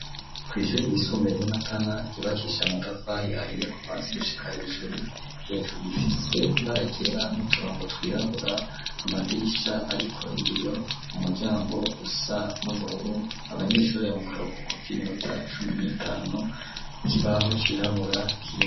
Kw'ishuri ryisumbuye ry'iMatana ryubakishijwe amatafari ahiye gushika hejuru , hejuru ifise ibara ryera n'uturongo twirabura , amadirisha ariko ibiyo, umuryango usa n'ubururu , abanyeshure mukaruhuko k'iminota cumi n'itanu , ikibaho cirabura kiri.